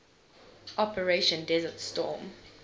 operation desert storm